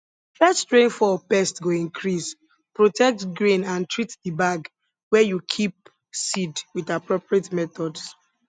first rain fall pest go increase protect grain and treat the bag where you keep seed with appropriate methods